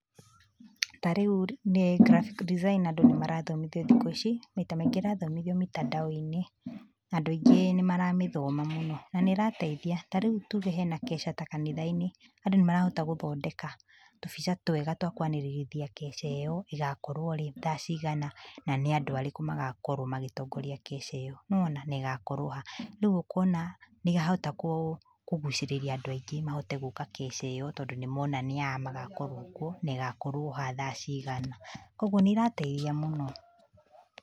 Tarĩu nĩ, graphic design andũ nĩrathomithio thikũ ici, maita maingĩ ĩrathomithio mĩtandao-iní, na andũ aingĩ nĩmaramĩthoma mũno, nanĩrateithia, tarĩu tuge hena kesha kanitha-inĩ, andũ nĩmarahota gũthondeka, tũbica twega twa kwanĩrĩrithia keca ĩyo, ĩgakorwo rĩ, thaa cigana, na nĩ andũ arĩkũ magakowro magĩtongoroa keca ĩyo, nĩwona negakorwo ha, rĩu ũkona, nĩahota kũ, kũgucĩrĩria andũ aingĩ mahote gũka keca ĩyo tondũ nĩmona nĩa magakorwo kuo negakorwo ha thaa cigana, koguo nĩrateithia mũno.